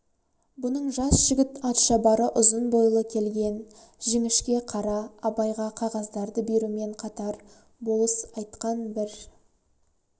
бұның жас жігіт атшабары ұзын бойлы келген жіңішке қара абайға қағаздарды берумен қатар болыс айтқан бір